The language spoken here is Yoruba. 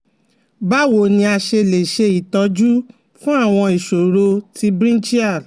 Báwo ni a ṣe lè ṣe itoju fun àwọn ìṣòro ti brinchial